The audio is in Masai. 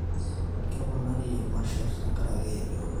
keponari imasherr tenkarake enkirowuaj